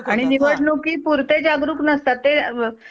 आणि निवडूनिकी पुरते जागरूक नसतात ते.